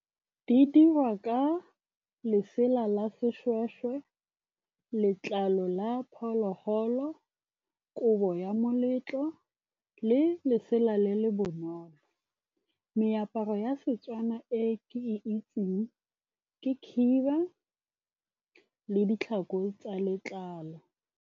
Di dirwa ka lesela la seshweshwe, letlalo la phologolo, kobo ya moletlo le lesela le le bonolo. Meaparo ya Setswana e ke e itseng ke khiba le ditlhako tsa letlalo.